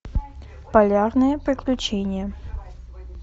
полярные приключения